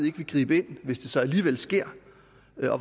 ikke vil gribe ind hvis det så alligevel sker